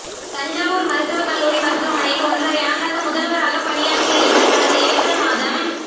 தஞ்சாவூர் மருத்துவக் கல்லூரி மருத்துவமனையில் ஓன்றரை ஆண்டாக முதல்வராகப் பணியாற்றிய இவர் கடந்த ஏப்ரல் மாதம்